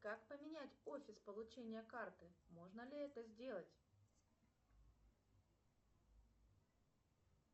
как поменять офис получения карты можно ли это сделать